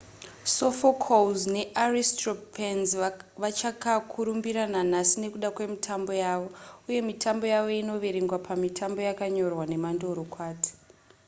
sophocles naaristophanes vachakakurumbira nanhasi nekuda kwemitambo yavo uye mitambo yavo inoverengwa pamitambo yakanyorwa nemandorokwati